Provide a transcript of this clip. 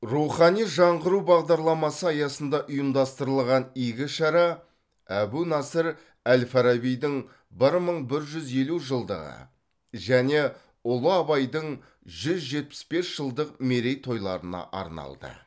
рухани жаңғыру бағдарламасы аясында ұйымдастырылған игі шара әбу насыр әл фарабидің бір мың бір жүз елу жылдығы және ұлы абайдың жүз жетпіс бес жылдық мерейтойларына арналды